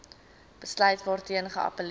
besluit waarteen geappelleer